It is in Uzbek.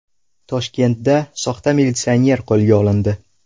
Toshkentda soxta militsioner qo‘lga olindi.